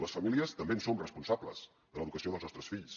les famílies també en som responsables de l’educació dels nostres fills